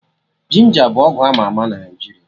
Ginja bụ ọgwụ ama ama na Naijiria